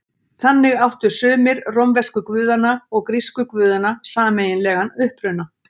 Þannig áttu sumir rómversku guðanna og grísku guðanna sameiginlegan uppruna.